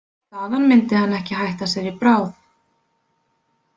Þaðan myndi hann ekki hætta sér í bráð.